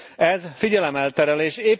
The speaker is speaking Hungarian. Ez figyelemelterelés.